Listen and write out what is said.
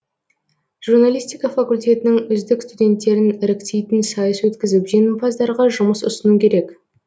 журналистика факультетінің үздік студенттерін іріктейтін сайыс өткізіп жеңімпаздарға жұмыс ұсыну керек